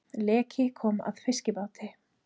Leki kom að fiskibáti